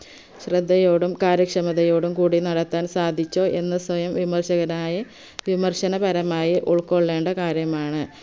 ശ്രദ്ധയോടും കാര്യക്ഷമതയോടും കൂടി നടത്താൻ സാധിച്ചു എന്ന് സൊയം വിമർശകരായി വിമർശനപരമായി ഉൾക്കൊള്ളേണ്ട കാര്യമാണ്